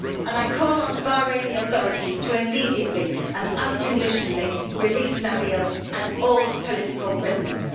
I call on the Bahraini authorities to immediately and unconditionally release Nabeel and all political prisoners.